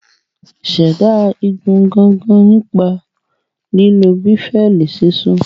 Ṣẹ̀dá igun gangan nípa lílo béfẹ́ẹ̀lì sisun